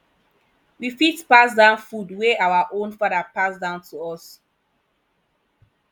we fit pass down food wey our own father pass down to us